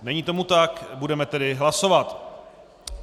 Není tomu tak, budeme tedy hlasovat.